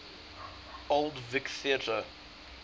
old vic theatre